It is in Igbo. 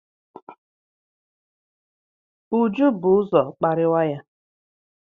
Uju bu ụzọ kparịwa ya.